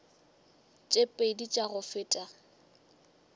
tše pedi tša go feta